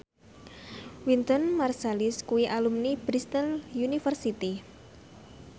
Wynton Marsalis kuwi alumni Bristol university